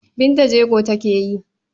Binta jego take yi.